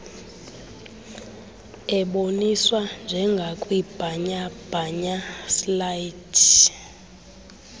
eboniswa njengakwibhanyabhanya slides